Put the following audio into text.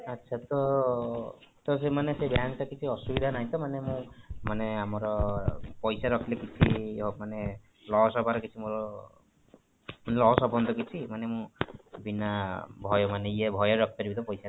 ଆଚ୍ଛା, ତ ତ ସେମାନେ ସେ bank ଟା କିଛି ଅସୁବିଧା ନାହିଁ ତ ମାନେ ମୁଁ ମାନେ ଆମର ପଇସା ରଖିଲେ କିଛି ମାନେ loss ହବାରେ କିଛି ମୋର loss ହବନି ତ କିଛି ମାନେ ମୁଁ ବିନା ଭୟ ମାନେ ଇଏ ଭୟ ରେ ରଖିପାରିବି ତ ପଇସା ଟା